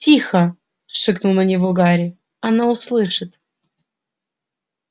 тихо шикнул на него гарри оно услышит